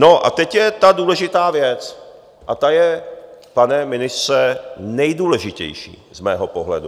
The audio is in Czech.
No a teď je ta důležitá věc a ta je, pane ministře, nejdůležitější z mého pohledu.